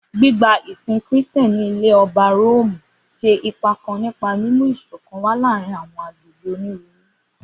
Gbigba isin Kristian ni Ilẹ-ọba Romu ṣe ipa kan nipa mimu iṣọkan wa laarin awọn agbegbe oniruuru.